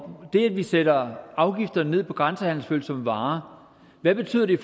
det at vi sætter afgifterne ned på grænsehandelsfølsomme varer betyder i